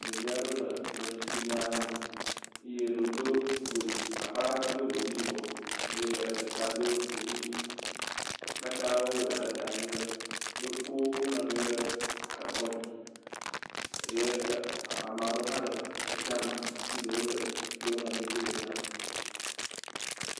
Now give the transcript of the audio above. Ɖevi aɖewo le tɔ sisi gã aɖe me eye eɖewo, akpa gã ŋtɔ do godi yibɔ eye ɖeka do godi ʋi. Wowɔ ɖa ɖe ta nyui ɖe. wokɔ wo nɔnɔewo ɖe kɔ dzi. Ame aɖewo hã le atsia me hafi ɖewo de wo nɔnɔewo dzi le dzia ƒo.